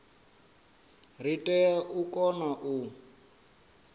ri tea u kona u